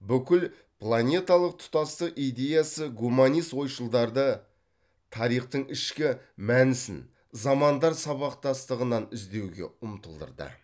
бүкіл планеталық тұтастық идеясы гуманист ойшылдарды тарихтың ішкі мәнісін замандар сабақтастығынан іздеуге ұмтылдырды